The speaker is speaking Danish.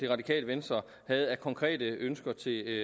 radikale venstre havde af konkrete ønsker til